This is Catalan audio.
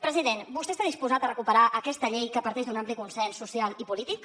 president vostè està disposat a recuperar aquesta llei que parteix d’un ampli consens social i polític